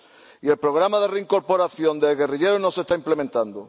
Y el programa de reincorporación de los exguerrilleros no se está implementando.